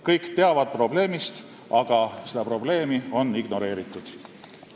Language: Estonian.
Kõik teavad probleemist, aga seda probleemi on ignoreeritud.